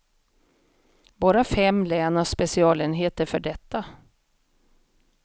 Bara fem län har specialenheter för detta.